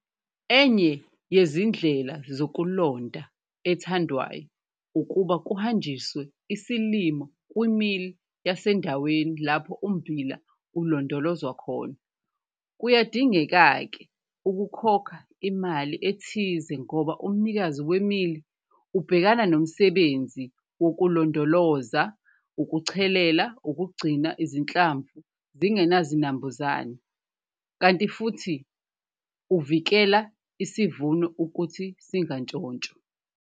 Enye yezindlela zokulonda ethandwayo ukuba kuhanjiswe isilimo kwimili yasendaweni lapho ummbila ulondolozwa khona. Kuyadingeka-ke ukukhokha imali ethize ngoba umnikazi wemili ubhekana nomsebenzi wokulondoloza, ukuchelela, ukugcina izinhlamvu zingenazinambuzane, kanti futhi uvikela isivuno ukuthi singantshontshwa.